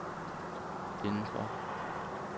indenfor